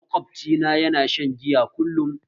Makwabci na yana shan giya kullum